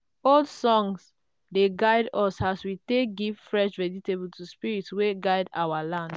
old songs dey guide us as we take give fresh vegetable to spirits wey guard our land.